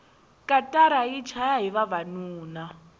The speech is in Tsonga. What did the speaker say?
katara yi chaya hi vavanuna